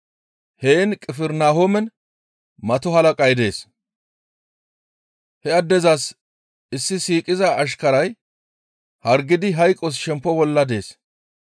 Heen Qifirnahoomen mato halaqay dees; he addezas izi siiqiza ashkaray hargidi hayqos shempo bolla dees.